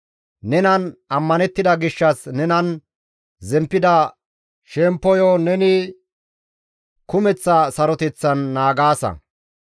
Nenan ammanettida gishshas nenan zemppida shemppoyo neni kumeththa saroteththan naagaasa.